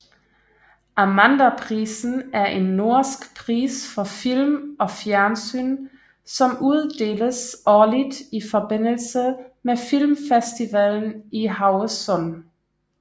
Amandaprisen er en norsk pris for film og fjernsyn som uddeles årligt i forbindelse med Filmfestivalen i Haugesund